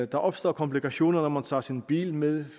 der opstår komplikationer når man tager sin bil med